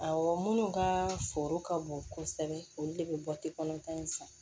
Awɔ minnu ka foro ka bon kosɛbɛ olu de bɛ bɔti kɔnɔntɔn in fɛ